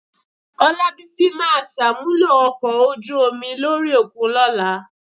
Ọlábísí máa ṣàmúlò ọkọ̀ ojú omi lórí òkun lọ́la.